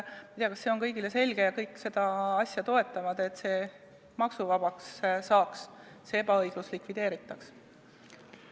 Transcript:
Ma ei tea, kas see on kõigile lihtsalt selge ja kõik seda asja toetavad, et see maksuvabaks saaks ja see ebaõiglus likvideeritaks.